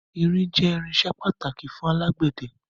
Irin jẹ irinsẹ́ pàtàkì fún alágbẹ̀dẹ